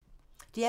DR P2